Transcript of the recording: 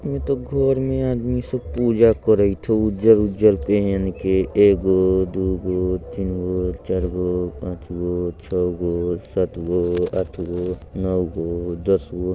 ई त घर मे आदमी सब पूजा करैत हउ। उजर-उजर पहन के एगो दुगो तीनगो चारगो पाँचगो छगो सातगो आठगो नौगो दसगो।